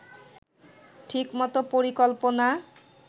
ঠিকমতো পরিকল্পনা